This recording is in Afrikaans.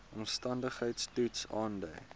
omstandigheids toets aandui